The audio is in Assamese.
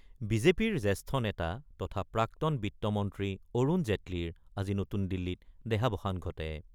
বিজেপিৰ জ্যেষ্ঠ নেতা তথা প্ৰাক্তন বিত্তমন্ত্ৰী অৰুণ জেটলীৰ আজি নতুন দিল্লীত দেহাৱসান ঘটে৷